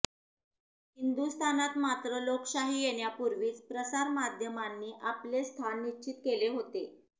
हिंदुस्थानात मात्र लोकशाही येण्यापूर्वीच प्रसार माध्यमांनी आपले स्थान निश्चित केले होते